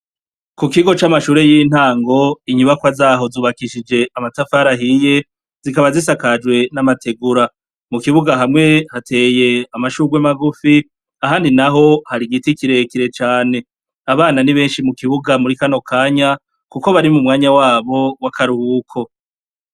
Ku kigo c'amashure y'intango inyubakwa zaho zubakishije amatafarahiye zikaba zisakajwe n'amategura mu kibuga hamwe hateye amashurwe magufi ahandi na ho hari igiti kirekire cane abana ni benshi mu kibuga muri kano kanya, kuko bari mu mwanya wabo w'akariuwuko.